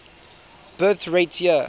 birth rate year